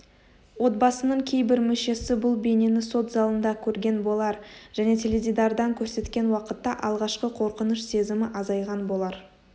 отбасының кейбір мүшесі бұл бейнені сот залында көрген болар және теледидардан көрсеткен уақытта алғашқы қорқыныш сезімі азайған болар